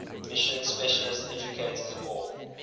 mission specialist educators or